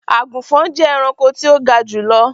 agunfọn jẹ ẹranko ti o ga julọ.